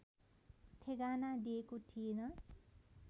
ठेगाना दिएको थिएन